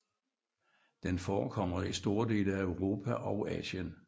Den forekommer i store dele af Europa og Asien